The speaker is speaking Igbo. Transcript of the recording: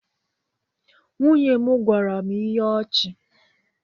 Nwunye m gwara m ihe ọchị.